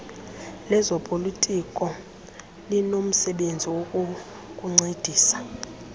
lezopolitiko linomsebenzi wokukuncedisa